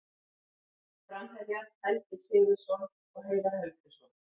Framherjar: Helgi Sigurðsson og Heiðar Helguson.